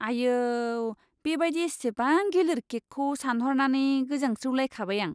आयौ, बेबायदि इसिबां गिलिर केकखौ सानहरनानै गोजांस्रिउलायखाबाय आं!